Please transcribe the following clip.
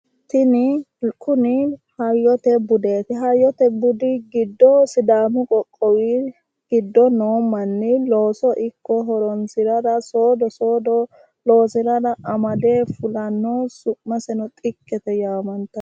Tini kuni hayyote budeeti. hayyote budi giddo sidaamu qoqqowi giddo noo manni looso ikko horonsirara soodo soodo loosirara amade fulanno su'maseno xikkete yaamantanno.